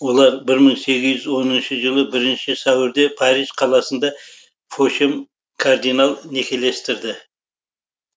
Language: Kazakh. олар бір мың сегіз жүз оныншы жылы бірінші сәуірде париж қаласында фошем кардинал некелестірді